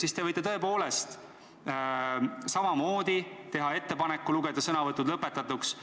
Siis võite te tõepoolest teha ettepaneku lugeda sõnavõtud lõpetatuks.